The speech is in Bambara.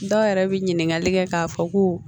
Dɔw yɛrɛ bɛ ɲininkali kɛ k'a fɔ ko